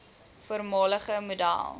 voormalige model